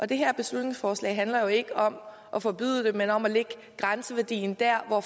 det her beslutningsforslag handler jo ikke om at forbyde noget men om at lægge grænseværdien dér hvor